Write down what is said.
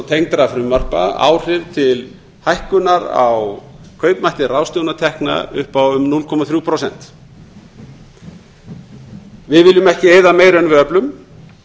tengdra frumvarpa áhrif til hækkunar á kaupmætti ráðstöfunartekna upp á um núll komma þrjú prósent við viljum ekki eyða meiru en við öflum